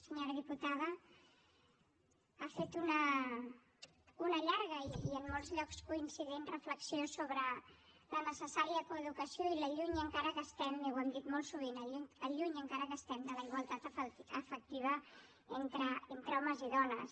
senyora diputada ha fet una llarga i en molts llocs coincident reflexió sobre la necessària coeducació i el lluny encara que estem ho hem dit molt sovint de la igualtat efectiva entre homes i dones